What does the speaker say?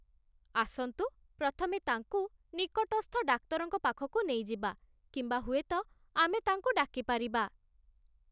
ଆସନ୍ତୁ ପ୍ରଥମେ ତାଙ୍କୁ ନିକଟସ୍ଥ ଡାକ୍ତରଙ୍କ ପାଖକୁ ନେଇଯିବା, କିମ୍ବା ହୁଏତ ଆମେ ତାଙ୍କୁ ଡାକି ପାରିବା।